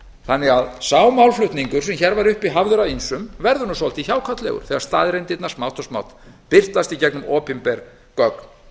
þannig að sá málflutningur sem hér var uppi hafður af ýmsum verður svolítið hjákátlegur þegar staðreyndirnar smátt og smátt birtast í gegnum opinber gögn